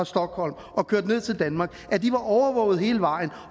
stockholm og kørte ned til danmark var overvåget hele vejen